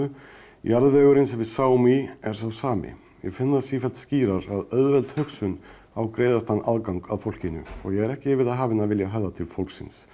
jarðvegurinn sem við sáum í er sá sami ég finn það sífellt skýrar að auðveld hugsun á greiðastan aðgang að fólkinu og ég er ekki yfir það hafinn að vilja höfða til fólksins